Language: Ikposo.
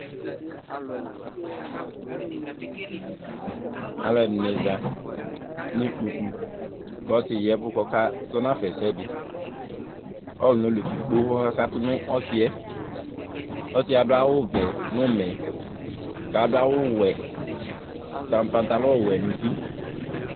Alʋɛdìní za nʋ ikpoku kʋ ɔsi di yavʋ kʋ ɔkazɔnafa ɛsɛdi Ɔlu dekpekpe kakatu nʋ ɔsi yɛ Ɔsi yɛ adu awu vɛ nʋ ʋmɛ kʋ adu awu wɛ ta pantalon wɛ nʋ ʋti